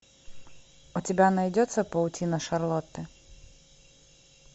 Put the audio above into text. у тебя найдется паутина шарлотты